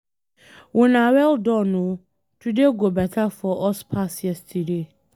Una well done oo, today go better for us pass yesterday.